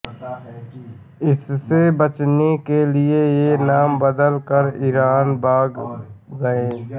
इससे बचने के लिए ये नाम बदल कर ईरान भाग गये